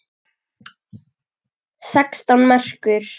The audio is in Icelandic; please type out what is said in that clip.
Sextán merkur!